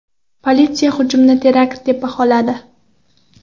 Politsiya hujumni terakt deb baholadi .